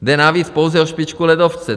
Jde navíc pouze o špičku ledovce.